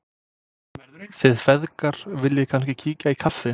Þið feðgar viljið kannski kíkja í kaffi?